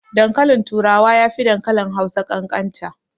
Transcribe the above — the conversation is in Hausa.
Dankalin turawa yafi dankalin Hausa ƙanƙanta.